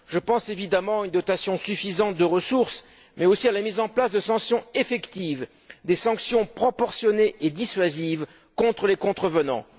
Je pense notamment à une dotation suffisante de ressources mais aussi à la mise en place de sanctions effectives, proportionnées et dissuasives contre les contrevenants.